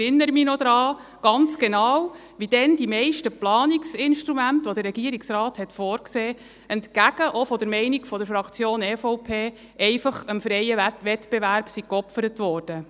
Ich erinnere mich noch ganz genau daran, wie damals die meisten Planungsinstrumente, welche der Regierungsrat vorsah, entgegen auch der Meinung der Fraktion EVP, einfach dem freien Wettbewerb geopfert wurden.